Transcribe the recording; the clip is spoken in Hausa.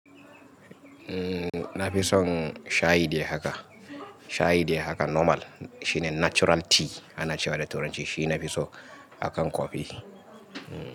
Umm, na fi son shayi dai haka, shayi dai haka normal. Shi ne natural tea ana cewa da turanci. Shi na fi so akan kofi, umm.